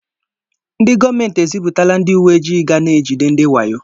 Ndị gọọmenti eziputala ndị uwe ojii ga na-ejide ndị wayo